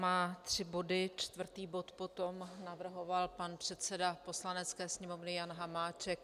Má tři body, čtvrtý bod potom navrhoval pan předseda Poslanecké sněmovny Jan Hamáček.